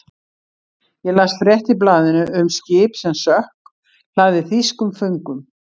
Ég las frétt í blaðinu um skip sem sökk, hlaðið þýskum föngum.